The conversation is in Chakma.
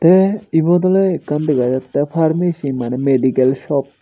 tey ebot oley ekkan dega jattey pharmacy maneh medical shop.